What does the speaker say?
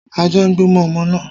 Ajá ń gbó mọ́ ọmọ náà